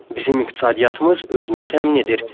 Bizim iqtisadiyyatımız özünü təmin edir.